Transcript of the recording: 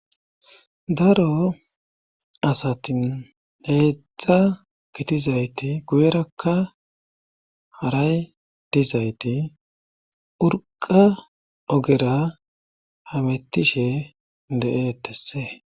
Daro asatin heedzdza gitizayti guyerakka haray dizayti urqa ogera hamettishe de7eetese.